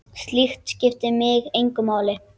Slíkt skiptir mig engu máli.